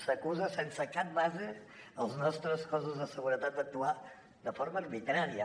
s’acusa sense cap base els nostres cossos de seguretat d’actuar de forma arbitrària